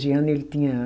Anos e ele tinha